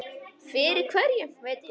Fyrir hverju veit ég ekki.